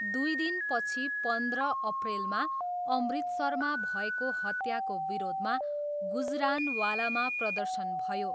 दुई दिनपछि पन्ध्र अप्रेलमा, अमृतसरमा भएको हत्याको विरोधमा गुजरानवालामा प्रदर्शन भयो।